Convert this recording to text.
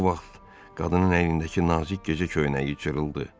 Bu vaxt qadının əynindəki nazik gecə köynəyi cırıldı.